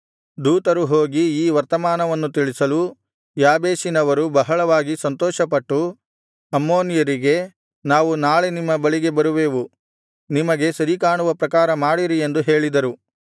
ದೂತರು ಹೋಗಿ ಈ ವರ್ತಮಾನವನ್ನು ತಿಳಿಸಲು ಯಾಬೇಷಿನವರು ಬಹಳವಾಗಿ ಸಂತೋಷಪಟ್ಟು ಅಮ್ಮೋನಿಯರಿಗೆ ನಾವು ನಾಳೆ ನಿಮ್ಮ ಬಳಿಗೆ ಬರುವೆವು ನಿಮಗೆ ಸರಿ ಕಾಣುವ ಪ್ರಕಾರ ಮಾಡಿರಿ ಎಂದು ಹೇಳಿದರು